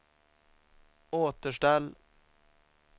återställ